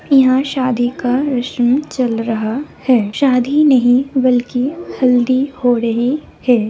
इहाँ शादी का रस्म चल रहा है शादी नहीं बल्कि हल्दी हो रहे हैं।